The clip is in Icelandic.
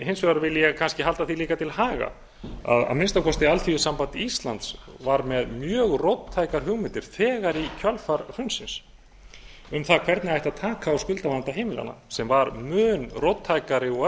hins vegar vil ég kannski halda því líka til haga að að minnsta kosti alþýðusamband íslands var með mjög róttækar hugmyndir þegar í kjölfar hrunsins um það hvernig ætti að taka á skuldavanda heimilanna sem var mun róttækari og